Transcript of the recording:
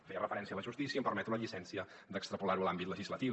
feia referència a la justícia em permeto la llicència d’extrapolar ho a l’àmbit legislatiu